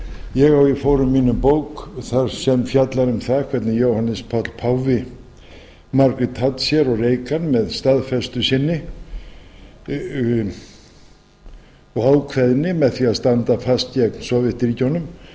ég á í fórum mínum bók þar sem fjallar um það hvernig jóhannes páll páfi margrét thatcher og reagan með staðfestu sinni og ákveðni með því að standa fast gegn sovétríkjunum